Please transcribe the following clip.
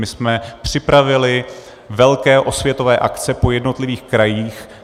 My jsme připravili velké osvětové akce po jednotlivých krajích.